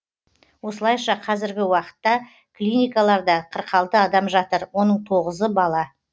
осылайша қазіргі уақытта клиникаларда қырық алты адам жатыр оның тоғызы бала